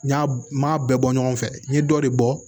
N y'a n m'a bɛɛ bɔ ɲɔgɔn fɛ n ye dɔ de bɔ